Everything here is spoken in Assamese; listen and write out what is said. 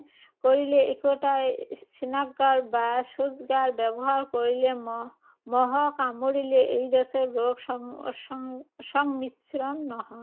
কৰিলে, একেটা স্নানাগাৰ বা শৌচাগাৰ ব্যৱহাৰ কৰিলে, মহ, মহ কামুৰিলে এইড্‌ছৰ ৰোগ সং সং সংক্ৰমিশ্ৰণ নহয়।